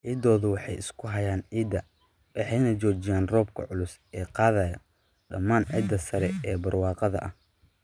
Xiddiddoodu waxay isku hayaan ciidda waxayna joojiyaan roobka culus ee qaadaya dhammaan ciidda sare ee barwaaqada ah.